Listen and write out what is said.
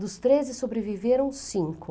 Dos treze sobreviveram cinco.